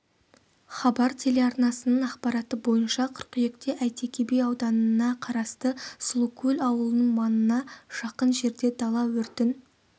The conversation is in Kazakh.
хабар телеарнасының ақпараты бойынша қыркүйекте әйтеке би ауданына қарасты сұлукөл ауылының маңына жақын жерде дала өртін